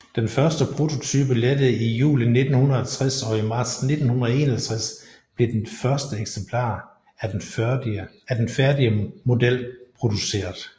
Den første prototype lettede i juli 1960 og i marts 1961 blev det første eksemplar af den færdige model produceret